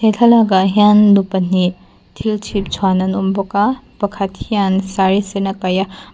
he thlalak ah hian nu pahnih thil chhip chhuan an awm bawk a pakhat hian sari sen a kaih a.